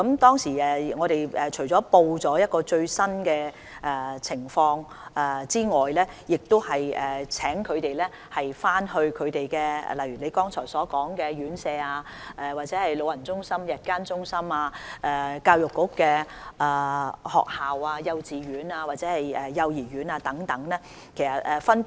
當時我們除了報告最新的疫情外，亦請他們回去按其工作範疇與——正如議員剛才提到的——院舍、長者中心、長者日間護理中心、學校、幼稚園及幼兒園等溝通。